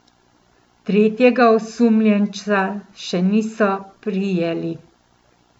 Tretjega osumljenca še niso prijeli.